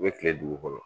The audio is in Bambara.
U bɛ kile dugu kɔnɔ